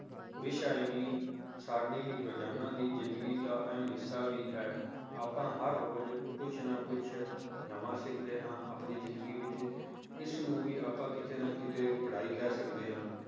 ਵਿਸ਼ਾ ਹੀ ਨਹੀਂ ਸਾਡੀ ਰੋਜ਼ਾਨਾ ਦੀ ਜ਼ਿੰਦਗੀ ਦਾ ਅਹਿਮ ਹਿੱਸਾ ਹੀ ਹੈ ਆਪਾਂ ਹਰ ਰੋਜ਼ ਕੁਛ ਨਾ ਕੁਛ ਨਵਾਂ ਸਿੱਖਦੇ ਹਾਂ ਆਪਦੀ ਜ਼ਿੰਦਗੀ ਵਿੱਚ ਇਸਨੂੰ ਵੀ ਆਪਾਂ ਕਿਤੇ ਨਾ ਕਿਤੇ ਪੜ੍ਹਾਈ ਕਹਿ ਸਕਦੇ ਹਾਂ